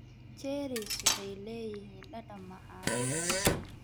Cherries waxay leeyihiin dhadhan macaan.